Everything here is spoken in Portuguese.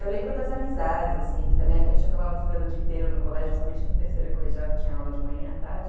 Eu lembro das amizades, assim, que a gente acabava ficando o dia inteiro no colégio, principalmente no terceiro colegial, que tinha aula de manhã e à tarde.